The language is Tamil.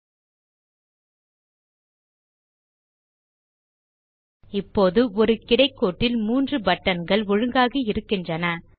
ல்ட்பாசெக்ட் இப்போது ஒரு கிடைக்கோட்டில் 3 பட்டன்கள் ஒழுங்காகி இருக்கின்றன